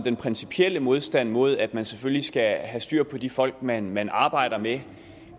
en principiel modstand mod at man selvfølgelig skal have styr på de folk man man arbejder med